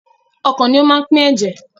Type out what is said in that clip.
Ọkàn ni ó máa ń pín ẹ̀jẹ̀.